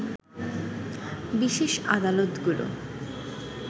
বিশেষ আদালতগুলো